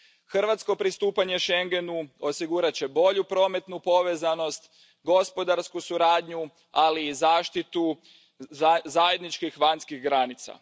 Hrvatsko pristupanje schengenu osigurat će bolju prometnu povezanost, gospodarsku suradnju, ali i zaštitu zajedničkih vanjskih granica.